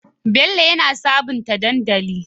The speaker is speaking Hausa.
Bello yana sabunta dandali